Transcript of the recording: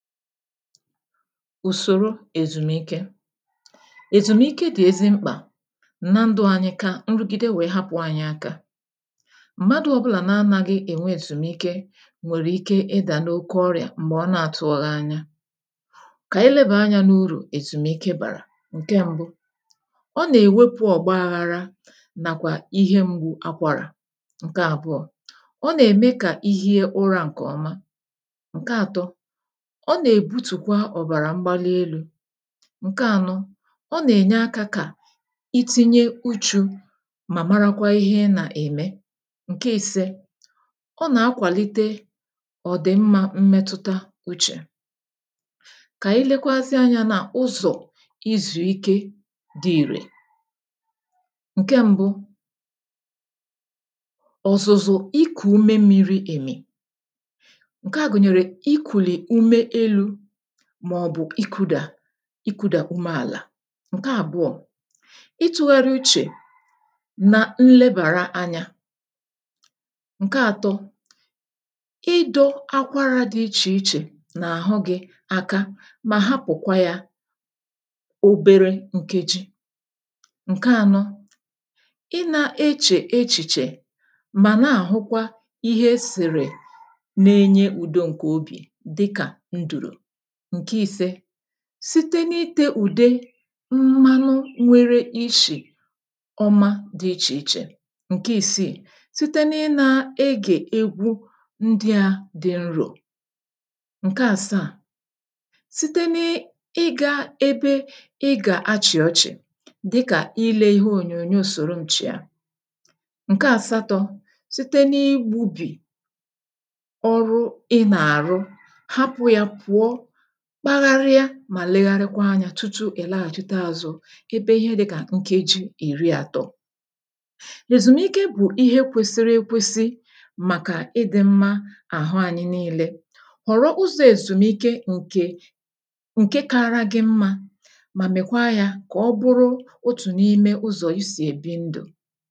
Usòro èzùmike: èzùmike dị̀ ezi mkpà na ndụ̇ anyị kaa nrụgide wèe hapụ̀ anyị aka. Mmadụ̇ ọbụlà na anaghị ènwe èzùmike nwèrè ike ịdà n’oke ọrịà m̀gbè ọ na-àtụghị anya. Kà ànyị lebàa anyȧ n’urù èzùmike bàrà. Nke mbụ, ọ̀ nà-ewepu ogbaghara nakwa Ihe mgbu akwara. Nke àbụọ, ọ̀ na-eme ka ihie ura ǹke oma. Nke ȧtọ, ọ̀ nà-èbutùkwa ọ̀bàrà mgbalielu. Nke ànọ, ọ nà-ènye akȧ kà itinye uchu̇ mà marakwa ihe nà-ème. Nke i̇sė, ọ nà-akwàlite ọ̀dìmmȧ mmẹtụta uchè. K'ànyi lėkwazịa anyȧ nà ụzọ̀ izùike dị ìrè; Nke m̀bụ, ọ̀zụ̀zụ̀ ikù ume mmiri̇ èmì, ǹke à gụ̀nyèrè ikuli ume elu màọ̀bụ̀ ikudà ikudà ume àlà. Nke àbụọ, ị tụgharịa uchè na nlebàra anyȧ. Nke àtọ, idȯ akwarȧ dị ichè ichè na àhụ gị̇ aka mà hapụ̀kwa yȧ oberė ǹke ji. Nke ȧnọ, i na-echè echìchè mà na-àhụkwa ihe esìrì na-enye ùdo ǹkè obì dịkà ndụ̀rụ̀. Nke ise, site n’ite ụ̀dè mmanụ nwere ishì ọma dị ichè ichè. Nke ìsiì, site n’ịnȧȧ egè egwu ndị̇ȧ dị nrȯ. Nke àsaà, site n’ịgȧ ebe ị gà-achị̀ ọchị̀ dịkà ile ihe ònyònyò sòro m chiȧ. Nke àsaatọ, ̇ site n’ịgbụ̇bì ọrụ ị nà-àrụ, hapu ya puo, kpagharịa mà legharịkwa anyȧ tụtụ ị̀ laghàjịta azụ ebe ihe dị kà nkeji ìri àtọ. Ezùmike bụ̀ ihe kwesịrị ekwesị màkà ịdị̇ mmȧ àhụ anyị niilė. Họ̀rọ ụzọ̇ èzùmike ǹkè ǹke kara gị mmȧ mà mèkwa yȧ kà ọ bụrụ otù n’ime ụzọ̀ isì èbi ndù.